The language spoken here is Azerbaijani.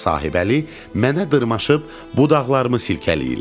Polad və Sahibəli mənə dırmaşıb budaqlarımı silkələyirlər.